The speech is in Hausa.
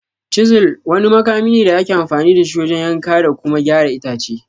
"Chisel" wani makami ne da ake amfani da shi wajen yanka da kuma gyara itace.